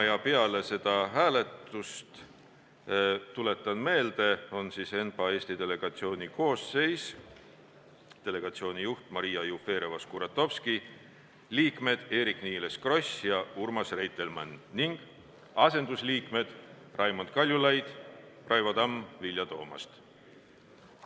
Tuletan meelde, et peale seda hääletust on ENPA Eesti delegatsiooni koosseis järgmine: delegatsiooni juht Maria Jufereva-Škuratovski, liikmed Eerik-Niiles Kross ja Urmas Reitelmann ning asendusliikmed Raimond Kaljulaid, Raivo Tamm ja Vilja Toomast.